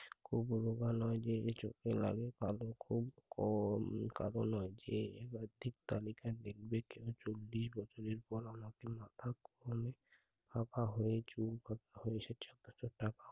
খুব ব্যবহার নয় যে এ চোখে লাগে কালো খুব কম কালো নয় যে মাথা খুয়ালে, ফাঁকা হয়ে চৌকাঠ ভোরে এসেছে অযথা